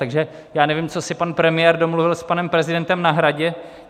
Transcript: Takže já nevím, co si pan premiér domluvil s panem prezidentem na Hradě.